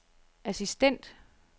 assistent